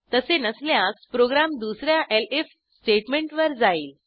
तसे नसल्यास प्रोग्रॅम दुस या एलिफ स्टेटमेंटवर जाईल